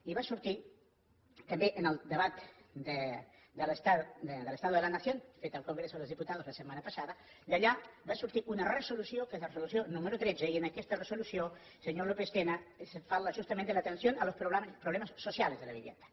i va sortir també en el debat de l’estado de la nación fet al congreso de los diputados la setmana passada i d’allà va sortir una resolució que és la resolució número tretze i en aquesta resolució senyor lópez tena se parla justament de la atención a los problemas sociales de la vivienda